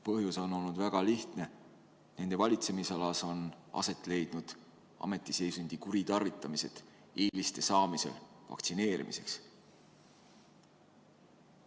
Põhjus on olnud väga lihtne: nende valitsemisalas on aset leidnud ametiseisundi kuritarvitamine seoses vaktsineerimiseks eeliste saamisega.